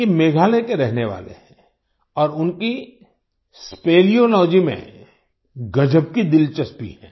ये मेघालय के रहने वाले हैं और उनकी स्पेलियोलॉजी स्पेलियोलॉजी में गज़ब की दिलचस्पी है